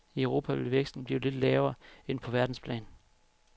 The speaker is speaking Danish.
I Europa vil væksten blive lidt lavere end på verdensplan.